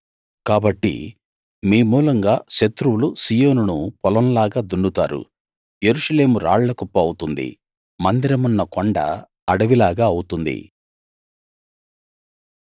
కాబట్టి మీ మూలంగా శత్రువులు సీయోనును పొలంలాగా దున్నుతారు యెరూషలేము రాళ్ల కుప్ప అవుతుంది మందిరమున్న కొండ అడవిలాగా అవుతుంది